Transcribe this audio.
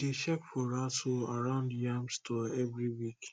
dey check for rat hole around yam store every week